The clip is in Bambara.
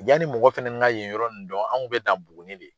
Yanani mɔgɔ fɛnɛ ka yen yɔrɔ in dɔn an kun bɛ dan Buguni de.